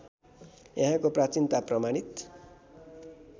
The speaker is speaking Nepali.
यहाँको प्राचीनता प्रमाणित